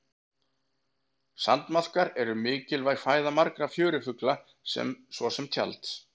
sandmaðkar eru mikilvæg fæða margra fjörufugla svo sem tjalds